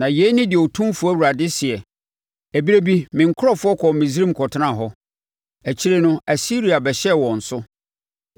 Na yei ne deɛ Otumfoɔ Awurade seɛ: “Ɛberɛ bi me nkurɔfoɔ kɔɔ Misraim kɔtenaa hɔ; akyire no Asiria bɛhyɛɛ wɔn so.